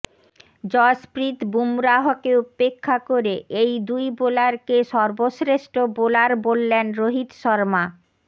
জসপ্রীত বুমরাহকে উপেক্ষা করে এই দুই বোলারকে সর্বশ্রেষ্ঠ বোলার বললেন রোহিত শর্মা